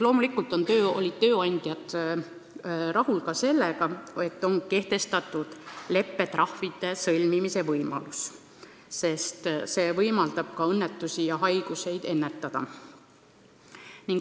Loomulikult olid tööandjad rahul ka sellega, et on kehtestatud leppetrahvide sõlmimise võimalus, sest see võimaldab õnnetusi ja haigusi ennetada.